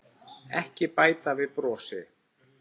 Ekki bæta við brosi.